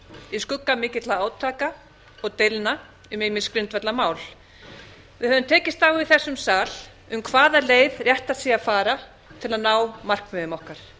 í skugga mikilla átaka og deilna um ýmis grundvallarmál við höfum tekist á í þessum sal um hvaða leið réttast sé að fara til að ná markmiðum okkar